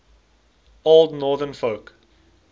old northern folk